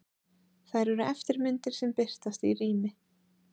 Þær eru eftirmyndir sem birtast í rými.